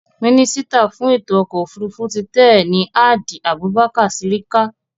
Mínísítà fún ètò ọkọ̀ òfurufú ti tẹ́ẹ̀ ni Hadi Abubakar Sirika